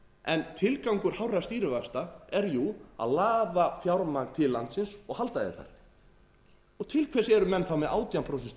en tilgangur hárra stýrivaxta er jú að laða fjármagn til landsins og halda því þar til hvers eru menn þá með átján prósent